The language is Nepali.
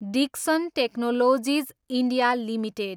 Dixon technologies, India, limited